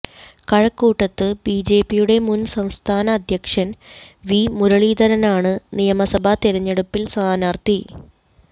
കഴക്കൂട്ടത്ത് ബിജെപിയുടെ മുൻ സംസ്ഥാന അധ്യക്ഷൻ വി മുരളീധരനാണ് നിയമസഭാ തെരഞ്ഞെടുപ്പിൽ സ്ഥാനാർത്ഥി